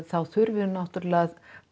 þá þurfi náttúrulega